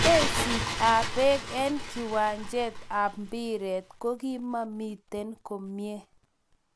Bereist ab peek en kiwanjet ab mpiret ko kimamiten komie